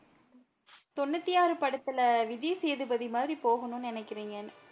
தொண்ணூத்தி ஆறு படத்துல விஜய் சேதுபதி மாதிரி போகணும்னு நினைக்கிறீங்க